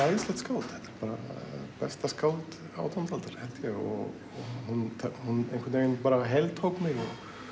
æðislegt skáld þetta er besta skáld átjándu aldar held ég og hún hún einhvern veginn bara heltók mig og